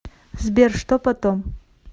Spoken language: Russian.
сбер что потом